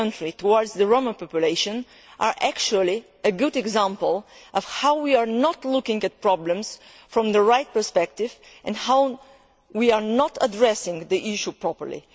towards the Roma population, are actually a good example of how we are not looking at problems from the right perspective, and how we are not addressing the issue properly.